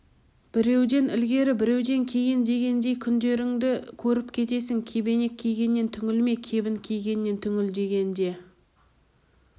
біреуден ілгері біреуден кейін дегендей күндеріңді көріп кетесің кебенек кигеннен түңілме кебін кигеннен түңіл деген де